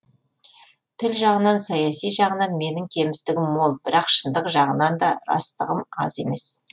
тіл жағынан саяси жағынан менің кемістігім мол бірақ шындық жағынан да растығым аз емес